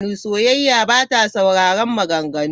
Sauyayya ba ta sauraron maganganu.